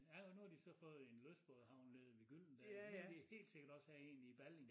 Ja og nu har de så fået en lystbådehavn nede ved Gyldendal så skal de helt sikkert også have en i Balling